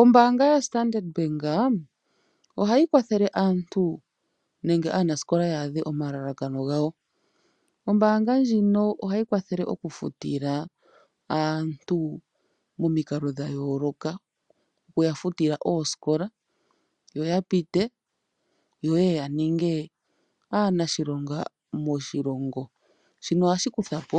Ombanga yo Standard Bank , ohayi kwathele aantu nenge anasikola yadhe omalalakano ngawo, ombanga ndjino ohayi kwathele oku futila aantu momiikalo dhayoloka okuya futila oosikola yo oya pite yo oyeye yaninge anashilonga moshilongo, shino ohashi kuthapo